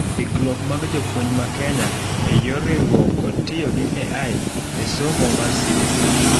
Ikruok mag jopuonj ma Kenya eyor riakruok kod tiyo gi AI e somo mar CBC'